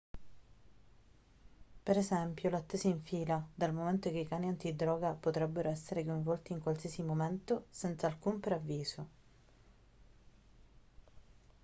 per esempio l'attesa in fila dal momento che i cani antidroga potrebbero essere coinvolti in qualsiasi momento senza alcun preavviso